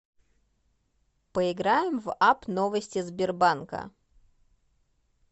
поиграем в апп новости сбербанка